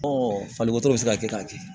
falikɔtɔ bɛ se ka kɛ k'a kɛ